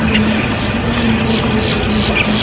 येमा द्वि तीन बड़ी बड़ी बिल्डिंग दिखणी।